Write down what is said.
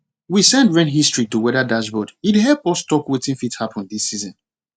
we send rain history to weather dashboard e dey help us talk wetin fit happen these season